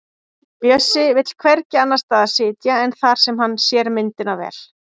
Bjössi vill hvergi annars staðar sitja en þar sem hann sér myndina vel.